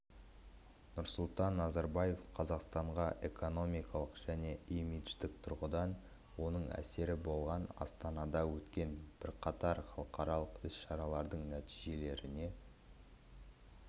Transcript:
нұрсұлтан назарбаев қазақстанға экономикалық және имидждік тұрғыдан оң әсері болған астанада өткен бірқатар халықаралық іс-шаралардың нәтижелеріне